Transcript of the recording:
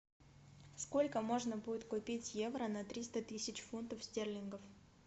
сколько можно будет купить евро на триста тысяч фунтов стерлингов